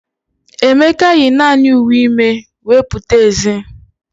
Emeka yi naanị uwe ime wee pụta ezi.